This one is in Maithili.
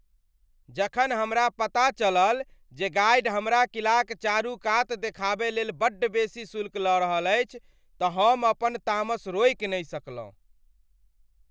जखन हमरा पता चलल जे गाइड हमरा किलाक चारूकात देखाबय लेल बड्ड बेसी शुल्क लऽ रहल अछि तऽ हम अपन तामस रोकि नहि सकलहुँ।